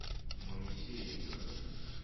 моисеенко